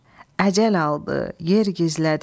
Əcəl aldı, yer gizlədi.